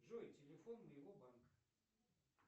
джой телефон моего банка